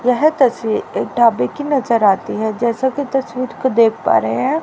यह तस्वीर एक ढाबे की नजर आती है जैसा की तस्वीर को देख पा रहे हैं।